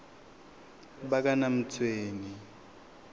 bakanamtshweni